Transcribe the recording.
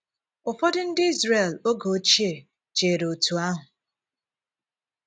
Ụfọdụ ndị Izrel oge òchìè chèrè otú ahụ.